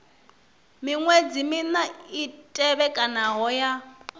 miṅwedzi mina i tevhekanaho ya